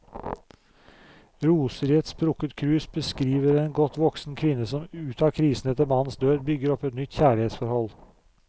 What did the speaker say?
Roser i et sprukket krus beskriver en godt voksen kvinne som ut av krisen etter mannens død, bygger opp et nytt kjærlighetsforhold.